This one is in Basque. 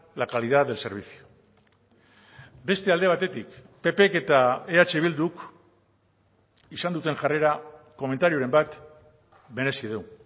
la calidad del servicio beste alde batetik ppk eta eh bilduk izan duten jarrera komentarioren bat merezi du